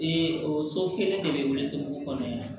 Ee o so kelen de bɛ welesebugu kɔnɔ yan